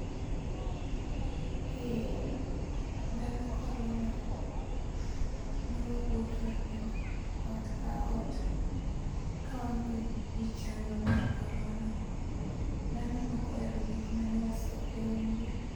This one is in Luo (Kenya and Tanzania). Eee, ndalo korona, newawuoto e dho ot ka ot, kawamiyo jii chanjo mar korona. Dhano nok ohero gik mane waso e umgi